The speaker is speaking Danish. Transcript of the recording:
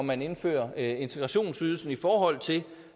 man indfører integrationsydelsen i forhold til